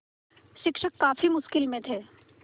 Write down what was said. शिक्षक काफ़ी मुश्किल में थे